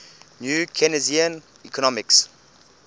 new keynesian economics